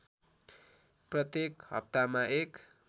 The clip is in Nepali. प्रत्येक हप्तामा १